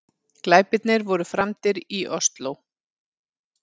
Glæpirnir voru framdir í Ósló